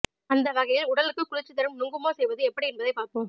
அந்த வகையில் உடலுக்கு குளிர்ச்சி தரும் நுங்குமோர் செய்வது எப்படி என்பதை பார்ப்போம்